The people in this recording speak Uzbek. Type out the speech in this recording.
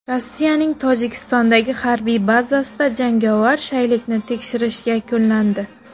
Rossiyaning Tojikistondagi harbiy bazasida jangovar shaylikni tekshirish yakunlandi.